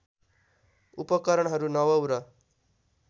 उपकरणहरू नवौँ र